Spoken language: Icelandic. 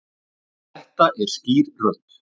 Þetta er skýr rödd.